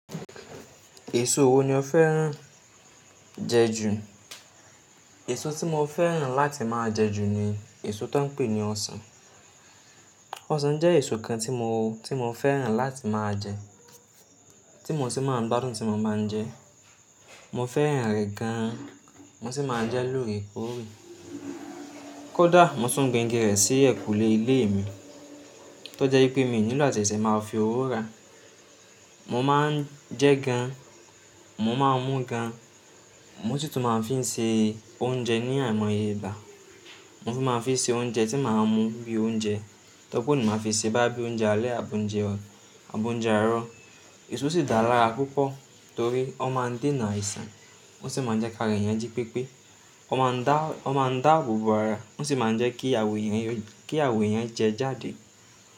Èso wo ni ó fẹ́ràn jẹ jù? Èso tí mo fẹ́ràn láti máa jẹ jù ni èso tó ń pè ní ọsàn. Ọsàn jẹ́ èso kan tí mo, tí mo fẹ́ràn láti máa jẹ, tí mo sì máa ń gbádùn tí mo ba ń jẹ. Mo fẹ́ràn rẹ̀ gan-an, mo sì máa ń jẹ lóore kóòré. Kódà mo tún gbin igi rẹ̀ sí ẹ̀kùlé ilé mi, tó jẹ́ pé mi ò nílò àtẹ̀sẹ̀ máa fi owó ra. Mo máa ń jẹ gan, mo máa ń mú gan, mo sí tùn máa ń fi ń ṣe oúnjẹ ní àìmọye Ìgbà. Mo fi máa ń fi ṣe oúnjẹ tí màá mú bí i oúnjẹ, tọ́ pó ni màá fi ṣe bá bíi oúnjẹ alẹ́ àbò ń jẹ ọ̀, àbò ń jẹ arọ. Èso sì dá lára púpọ̀ torí ó máa ń dènà àìsàn, ó sì máa ń jẹ́ kára èèyàn jí pípé. Ó máa ń dá, ó máa ń dáabo bo ara, ó sì máa ń jẹ́ kí àwọ̀ èèyàn yó, kí àwọ̀ èèyàn jẹ jáde.